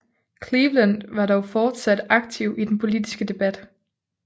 Cleveland var dog fortsat aktiv i den politiske debat